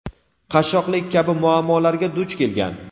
qashshoqlik kabi muammolarga duch kelgan.